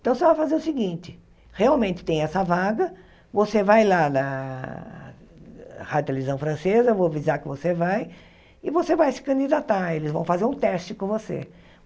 Então você vai fazer o seguinte, realmente tem essa vaga, você vai lá na rádio televisão francesa, vou avisar que você vai, e você vai se candidatar, eles vão fazer um teste com você.